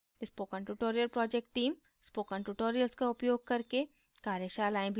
spoken tutorial project team spoken tutorial का उपयोग करके कार्यशालाएँ भी चलाती है